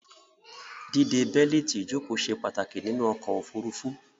Díde bẹ́lítì ìjòkó se pàtàkì nínú okò òfurufú